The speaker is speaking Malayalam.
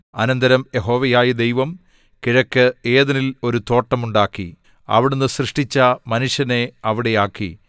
അനന്തരം യഹോവയായ ദൈവം കിഴക്ക് ഏദെനിൽ ഒരു തോട്ടം ഉണ്ടാക്കി അവിടുന്ന് സൃഷ്ടിച്ച മനുഷ്യനെ അവിടെ ആക്കി